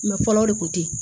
fɔlɔ o de kun te yen